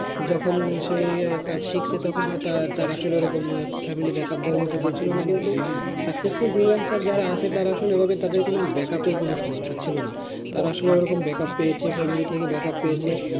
যখন সে কাজ শিখছে তখন হয়তো তার আসলে family backup দেয়ার মতন কেও ছিল না, কিন্তু successful freelancer যারা আছে তারা আসলে তাদের backup এর কোনো সমস্যা ছিল না তারা আসলে ওরকম backup পেয়েছে বা family থেকে backup পেয়েছে,